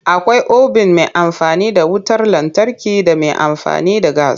Akwai obin mai amfani da wutar lantarki da mai amfani da gas.